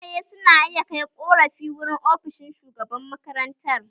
Iyaye su na iya kai ƙorafi wurin ofishin shugaban makaranta